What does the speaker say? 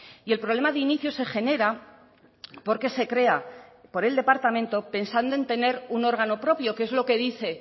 y el problema de inicio se genera porque se crea por el departamento pensando en tener un órgano propio que es lo que dice